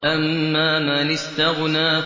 أَمَّا مَنِ اسْتَغْنَىٰ